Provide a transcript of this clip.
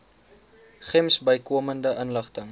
gems bykomende inligting